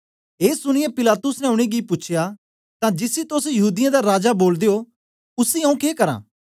ए सुनीयै पिलातुस ने उनेंगी पी पूछेया तां जिसी तोस यहूदीयें दा राजा बोलदे ओ उसी आऊँ के करां